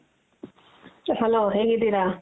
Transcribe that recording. hello ಹೇಗಿದಿರ.